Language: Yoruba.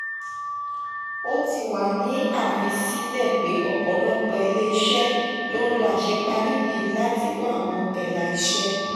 ó ti wà ní àfi sílẹ pé ọpọlọpọ ilé-iṣẹ́ ń lo àṣeparí yìí láti wá àwọn ẹ̀la iṣẹ́.